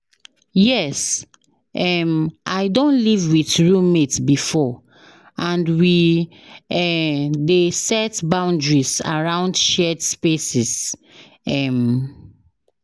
Yes, um i don live with roommate before, and we um dey set boundaries around shared spaces. um